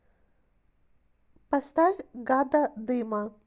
поставь гада дыма